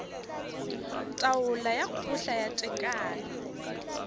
taolo ya kgotla ya tekano